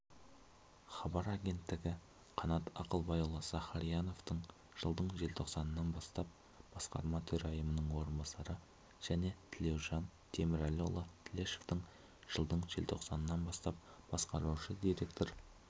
хабар агенттігі қанат ақылбайұлы сахарияновтың жылдың желтоқсанынан бастап басқарма төрайымының орынбасары және тілеужан темірәліұлы тілешовтың жылдың желтоқсанынан бастап басқарушы директор